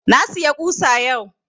Na siya ƙusa yau